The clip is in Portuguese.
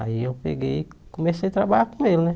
Aí eu peguei e comecei a trabalhar com ele, né?